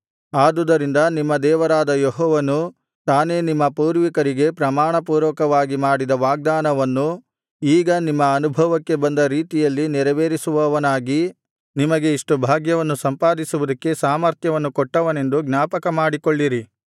ಆದುದರಿಂದ ನಿಮ್ಮ ದೇವರಾದ ಯೆಹೋವನು ತಾನೇ ನಿಮ್ಮ ಪೂರ್ವಿಕರಿಗೆ ಪ್ರಮಾಣಪೂರ್ವಕವಾಗಿ ಮಾಡಿದ ವಾಗ್ದಾನವನ್ನು ಈಗ ನಿಮ್ಮ ಅನುಭವಕ್ಕೆ ಬಂದ ರೀತಿಯಲ್ಲಿ ನೆರವೇರಿಸುವವನಾಗಿ ನಿಮಗೆ ಇಷ್ಟು ಭಾಗ್ಯವನ್ನು ಸಂಪಾದಿಸುವುದಕ್ಕೆ ಸಾಮರ್ಥ್ಯವನ್ನು ಕೊಟ್ಟವನೆಂದು ಜ್ಞಾಪಕಮಾಡಿಕೊಳ್ಳಿರಿ